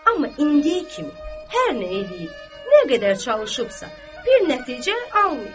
Amma indiyə kimi hər nə eləyib, nə qədər çalışıbsa, bir nəticə almayıb.